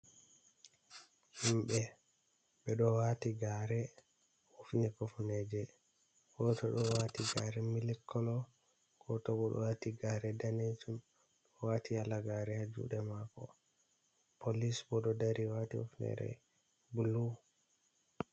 Himɓe, ɓe ɗo waati gare hifni kufneeje. Goto ɗo waati gaare mil kolo, goto bo ɗo waati gare daneejum, ɗo waati halagaare ha juuɗe mako. Polis bo ɗo dari waati hifnere blu.